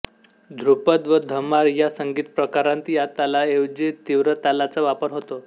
ध्रुपद व धमार या संगीतप्रकारांत या तालाऐवजी तीव्रतालाचा वापर होतो